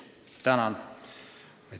Tänan!